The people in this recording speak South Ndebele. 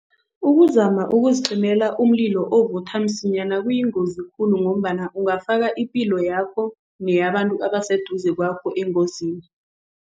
Ukuzama ukuzicimela umlilo ovutha msinyana kuyingozi khulu ngombana ungafaka ipilo yakho neyabantu ebaseduze kwakho engozini.